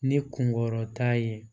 Ni kungɔrɔ ta ye